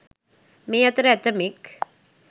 මේ අතර ඇතැමෙක්